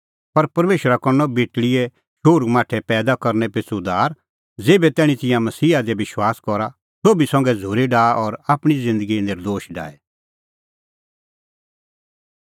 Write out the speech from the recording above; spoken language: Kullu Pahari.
पर परमेशरा करनअ बेटल़ीए शोहरूमाठै पैईदा करनै पिछ़ू उद्धार ज़ेभै तैणीं तिंयां मसीहा दी विश्वास करा सोभी संघै झ़ूरी डाहा और आपणीं ज़िन्दगी नर्दोश डाहे